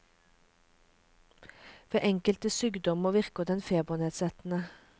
Ved enkelte sykdommer virker den febernedsettende.